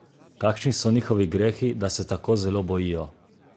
Kakšni so njihovi grehi, da se tako zelo bojijo?